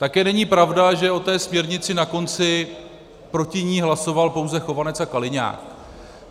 Také není pravda, že o té směrnici na konci proti ní hlasoval pouze Chovanec a Kaliňák.